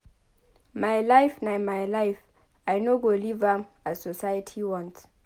My life na my life I no go live am as society want.